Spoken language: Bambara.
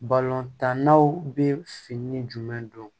tannaw bɛ fini jumɛn don